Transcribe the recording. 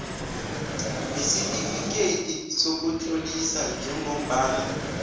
nesitifikeyiti sokutlolisa njengombana